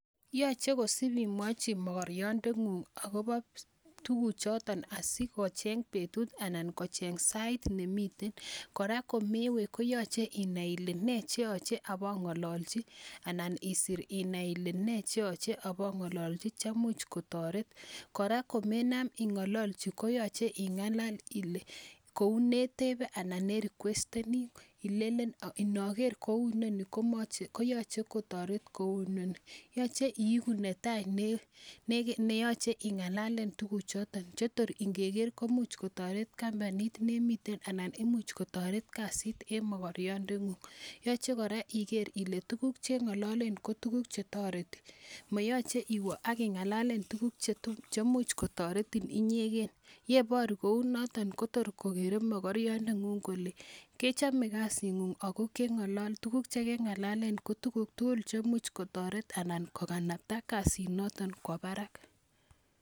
Yoche kosip imwochi mogoriondengung akobo tukuchoton asikocheng betut anan kocheng sait ne miten, kora komewe koyoche inai ile nee che yoche abo ngololchi anan isir inai ile, nee che yoche abongololchi chemuch kotoret, kora komenam ingololchi koyoche ingalal ile, kou ne tebe anan ne rikwesteni ilelen, inoker kou noni koyoche kotoret kou noni, yoche iiku ne tai ne yoche ingalalen tukuchoton che tor ingeker komuch kotoret campanit ne miten anan imuch kotoret kasit eng mokoryondengung, yoche kora iker ile tukuk che ngololen ko tukuk che toreti, moyoche iwe ak ingalalen tukuk che much kotoretin inyeken, yeboru kou notok kotor kokere mokoryondengung kole kechome kasingung ako tukuk che kengalalen ko tukuk tugul chemuch kotoret anan kokanapta kasinoton kwo barak.